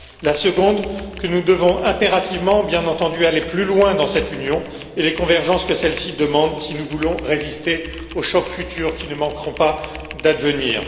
la seconde, que nous devons impérativement, bien entendu, aller plus loin dans cette union et les convergences que celle ci demande si nous voulons résister aux chocs futurs qui ne manqueront pas d'advenir.